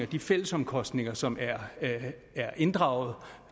de fælles omkostninger som er inddraget